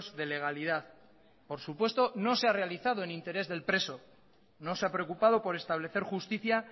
de legalidad por supuesto no se ha realizado en interés del preso no se ha preocupado por establecer justicia